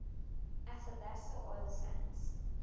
athabasca oil sands